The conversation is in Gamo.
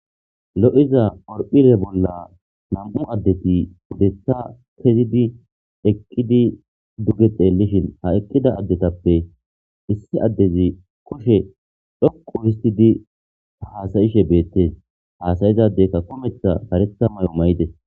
lo7iza orphire bolla nam7u addeti pudetha kezidi eqqidi duge xeellishin ha eqqida addetappe issi addezi koshe dhoqu histidi haasayishe beettes haasayizadekka kometha karetha may7o may7ite